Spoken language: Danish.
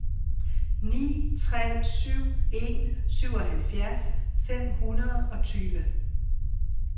ni tre syv en syvoghalvfjerds fem hundrede og tyve